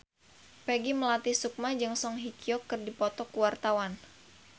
Peggy Melati Sukma jeung Song Hye Kyo keur dipoto ku wartawan